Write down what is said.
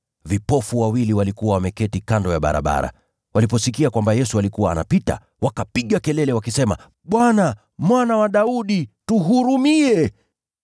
Vipofu wawili walikuwa wameketi kando ya barabara. Waliposikia kwamba Yesu alikuwa anapita, wakapiga kelele wakisema, “Bwana, Mwana wa Daudi, tuhurumie!”